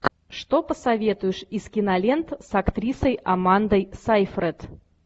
что посоветуешь из кинолент с актрисой амандой сейфрид